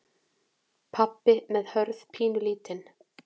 Pabbi með Hörð pínulítinn.